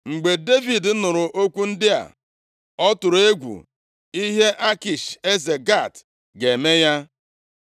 Mgbe Devid nụrụ okwu ndị a, ọ tụrụ egwu ihe Akish eze Gat ga-eme ya.